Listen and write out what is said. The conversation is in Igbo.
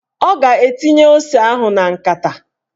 Ọ ga-etinye ose ahụ na nkata